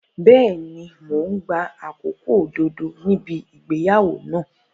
Bẹ́ẹ̀ni, mò ń gba àkókò òdodo níbi ìgbéyàwó náà.